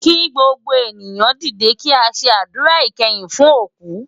Ki gbógbó éniyan didé ki á sé ádúrá ikèyin fún ókú